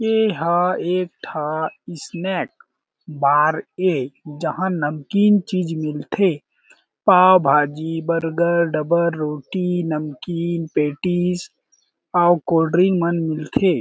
एहां एक ठा snack bar ए जहाँ नमकीन चीज़ मिलथे पॉव भाजी बर्गर डबल रोटी नमकीन पेटिस अउ कोल्ड ड्रिंक मन मिलथे।